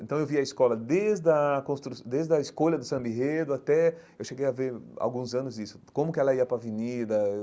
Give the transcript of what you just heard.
Então eu via a escola desde a construção desde a escolha do Samba enredo até... Eu cheguei a ver alguns anos isso, como que ela ia para a Avenida.